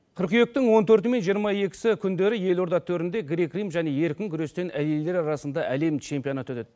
қыркүйектің он төрті мен жиырма екісі күндері елорда төрінде грек рим және еркін күрестен әйелдер арасында әлем чемпионаты өтеді